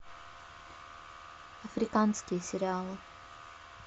африканские сериалы